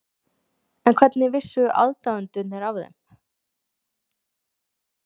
En hvernig vissu aðdáendurnir af þeim?